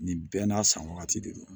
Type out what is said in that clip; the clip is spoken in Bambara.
Nin bɛɛ n'a san wagati de don